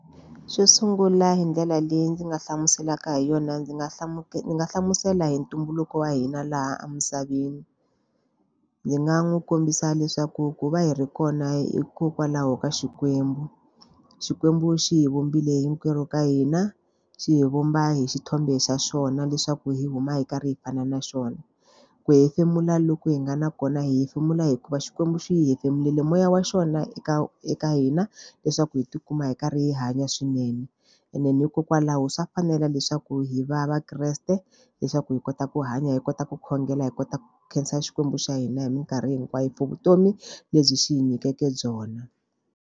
Xo sungula hi ndlela leyi ndzi nga hlamuselaka hi yona ndzi nga ndzi nga hlamusela hi ntumbuluko wa hina laha emisaveni. Ndzi nga n'wi kombisa leswaku ku va hi ri kona hikokwalaho ka Xikwembu. Xikwembu xi hi vumbile hinkwerhu ka hina, xi hi vumba hi xithombe xa swona leswaku hi huma hi karhi hi fana na xona. Ku hefemula loku hi nga na kona, hi hefemula hikuva xikwembu xi hi hefemulela moya wa xona eka eka hina leswaku hi ti kuma hi karhi hi hanya swinene. Hikokwalaho swa fanela leswaku hi va vakreste, leswaku hi kota ku hanya, hi kota ku khongela, hi kota ku khensa xikwembu xa hina hi minkarhi hinkwayo for vutomi lebyi xi hi nyikeke byona.